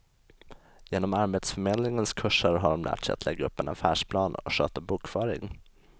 Genom arbetsförmedlingens kurser har de lärt sig att lägga upp en affärsplan och sköta bokföring.